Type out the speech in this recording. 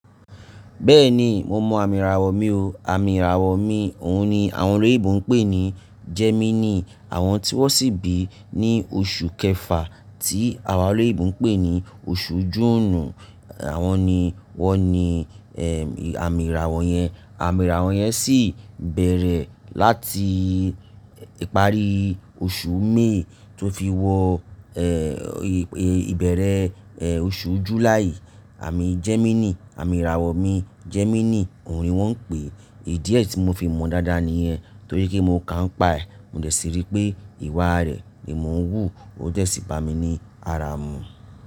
Bẹ́ẹ̀ni, mo mọ àmì ìràwọ̀ mi o. Àmì ìràwọ̀ mi, òun ni àwọn orílẹ̀-èdè Ìgbò ń pè ní Gemini. Àwọn tí wọ́n sì bí ní oṣù kẹfà tí àwa eleyinbò ń pè ní oṣù June. Àwọn ni wọ́n ni àmì ìràwọ̀ yẹn. Àmì ìràwọ̀ yẹn sì bẹ̀rẹ̀ láti ìparí oṣù May tó fi wọ ìbẹ̀rẹ̀ oṣù July. Àmì Gemini, àmì ìràwọ̀ mi Gemini òun ni wọ́n ń pè é. Ídíẹ̀ tí mo fi mọ̀ n dáadáa níyen, torí pé mo ka nipa rẹ̀, mo dẹ̀ sí rí pé ìwà rẹ̀ nimo ń wùú, ó jẹ̀ sì bá mi ní ara mi.